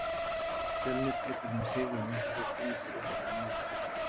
Fjölnir getur með sigri á Einherja komið sér upp í annað sæti.